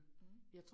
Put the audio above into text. Mh